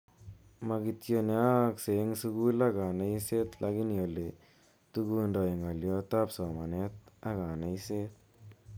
Ma kityo ne aaksei eng sukul ak kaneiset lakini ole togundoi ngalyot ap somanet ak kaneiset.